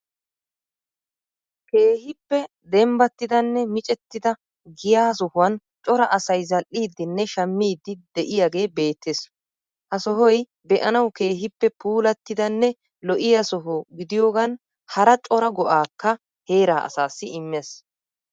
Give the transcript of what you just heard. Keehippe dembbatidanne micettida giyaa sohouwan cora asay zal'iiddinne shammiiddi de'iyagee beettes. Ha sohoyi be'anawu keehippe puullatidanne lo'iya soho gidiyogan hara cora go'aakka heeraa asaassi immees.